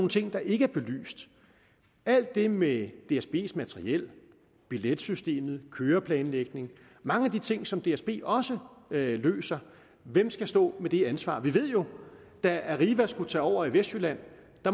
ting der ikke er belyst alt det med dsbs materiel billetsystemet køreplanlægning mange af de ting som dsb også løser hvem skal stå med det ansvar vi ved jo at da arriva skulle tage over i vestjylland